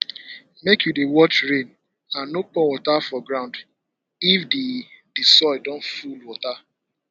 make you dey watch rain and no pour water for ground if the the soil don full water